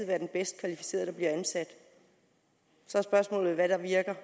være den bedst kvalificerede der bliver ansat så er spørgsmålet hvad der virker